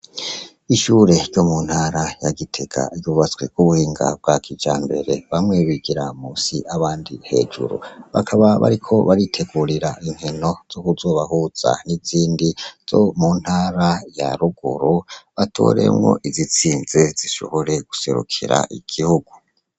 Ishure ryo mu ntara ya Gitega ryubatswe ku buhinga bwa kijambere bamwe bigira munsi abandi hejuru , bakaba bariko baritegurira inkino zo kuzobahuza n'izindi zo mu ntara ya ruguru batoremwo izitsinze zishobore guserukira igihugu.